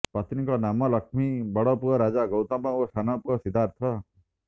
ପତ୍ନୀ ଙ୍କ ନାମ ଲଖ୍ମୀ ବଡପୁଅ ରାଜା ଗୈତମ ଓ ସାନ ପନଅ ସିଧାର୍ଥ